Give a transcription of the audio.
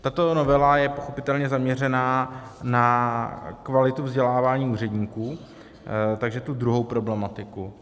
Tato novela je pochopitelně zaměřena na kvalitu vzdělávání úředníků, takže tu druhou problematiku.